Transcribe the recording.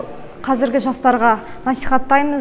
қазіргі жастарға насихаттаймыз